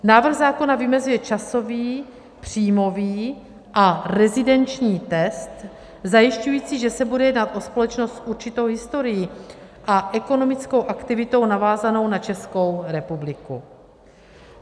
Návrh zákona vymezuje časový, příjmový a rezidenční test zajišťující, že se bude jednat o společnost s určitou historií a ekonomickou aktivitou navázanou na Českou republiku.